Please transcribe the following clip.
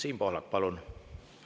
Siim Pohlak, palun!